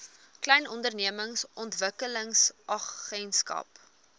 klein ondernemings ontwikkelingsagentskap